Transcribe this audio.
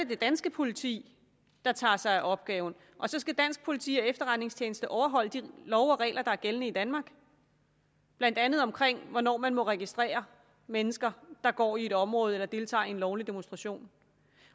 det danske politi der tager sig af opgaven og så skal dansk politi og efterretningstjeneste overholde de love og regler der er gældende i danmark blandt andet om hvornår man må registrere mennesker der går i et område eller deltager i en lovlig demonstration